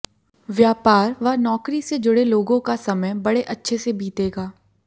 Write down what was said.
व्यापार व नौकरी से जुड़े लोगों का समय बड़े अच्छे से बीतेगा